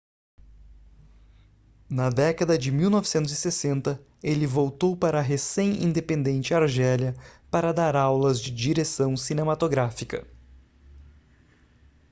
na década de 1960 ele voltou para a recém-independente argélia para dar aulas de direção cinematográfica